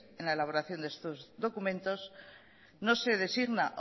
en la elaboración de estos documentos no se designa